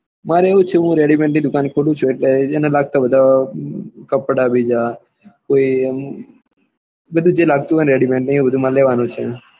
મારે એવું જ છે હું ready made ની દુકાને પડું ચુ એટલે એને લગતા બધા કપડા બીજ્જા કોઈ એમ બધું જે લાગતું હોય ને ready made ને એ બહુ મારે લેવાનું જ છે.